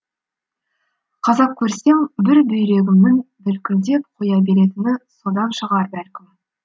қазақ көрсем бір бүйрегімнің бүлкілдеп қоя беретіні содан шығар бәлкім